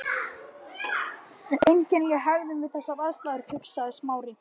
Einkennileg hegðun við þessar aðstæður, hugsaði Smári.